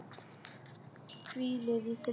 Hvílið í friði.